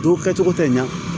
Don kɛcogo tɛ ɲa